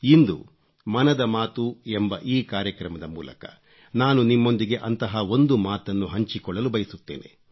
ಇಂದು ಮನದ ಮಾತು ಎಂಬ ಈ ಕಾರ್ಯಕ್ರಮದ ಮೂಲಕ ನಾನು ನಿಮ್ಮೊಂದಿಗೆ ಅಂತಹ ಒಂದು ಮಾತನ್ನು ಹಂಚಿಕೊಳ್ಳಲು ಬಯಸುತ್ತೇನೆ